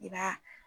I b'a